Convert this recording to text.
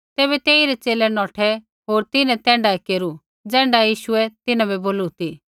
तैबै तेइरै च़ेले नौठै होर तिन्हैं तैण्ढाऐ केरू ज़ैण्ढा यीशुऐ तिन्हां बै बोलू ती